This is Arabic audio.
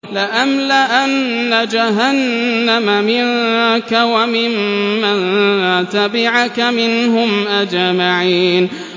لَأَمْلَأَنَّ جَهَنَّمَ مِنكَ وَمِمَّن تَبِعَكَ مِنْهُمْ أَجْمَعِينَ